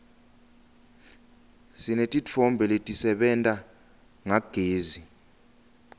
sinetintfo letisebenta ngagezi